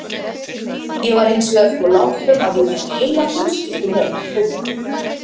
Ég var hins vegar svo lánsöm að ég fékk heila fjölskyldu með í kaupbæti.